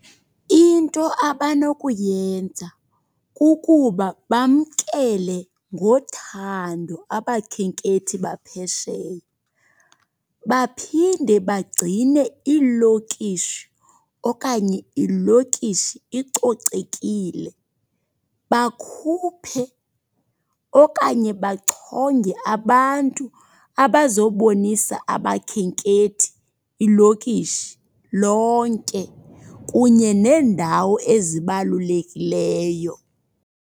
Into abanokuyenza kukuba bamkele ngothando abakhenkethi baphesheya. Baphinde bagcine iilokishi okanye ilokishi icocekile. Bakhuphe okanye bachonge abantu abazobonisa abakhenkethi ilokishi lonke kunye neendawo ezibalulekileyo.